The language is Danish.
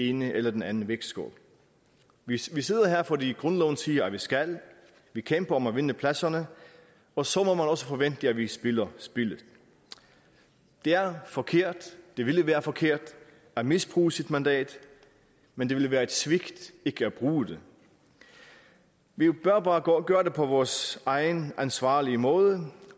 ene eller den anden vægtskål vi sidder her fordi grundloven siger at vi skal vi kæmper om at vinde pladserne og så må man også forvente at vi spiller spillet det er forkert og det ville være forkert at misbruge sit mandat men det ville være et svigt ikke at bruge det vi bør bare gøre det på vores egen ansvarlige måde